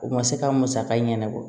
U ma se ka musaka ɲɛnɛbɔ